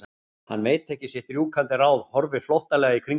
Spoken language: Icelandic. Hann veit ekki sitt rjúkandi ráð, horfir flóttalega í kringum sig.